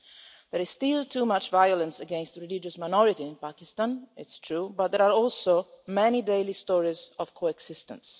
There is still too much violence against religious minorities in Pakistan, it's true, but there are also many daily stories of coexistence.